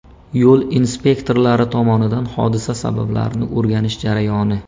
Yo‘l inspektorlari tomonidan hodisa sabablarini o‘rganish jarayoni.